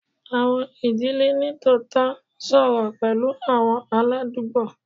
Awọn idile nitootọ n sọrọ pẹlu awọn aladugbo